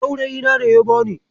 Saurayina ne ya bani.